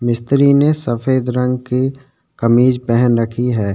मिस्त्री ने सफ़ेद रंग की कमीज पेहन रखी है |